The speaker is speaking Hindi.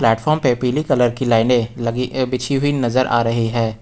प्लेटफार्म पे पीली कलर लाइने लगी अ बिछी हुई नजर आ रही हैं।